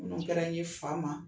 Ninnu kɛra n ye Faama